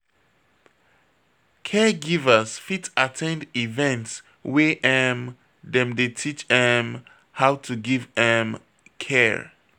Caregivers fit at ten d events wey um dem dey teach um how to give um care